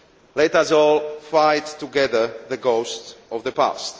Let us all fight together the ghosts of the past.